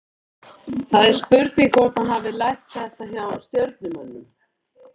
Það er spurning hvort að hann hafi lært þetta hjá Stjörnumönnum?